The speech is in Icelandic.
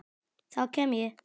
Þá kem ég